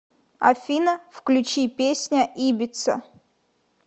афина включи песня ибица